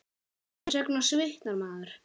Hvers vegna svitnar maður?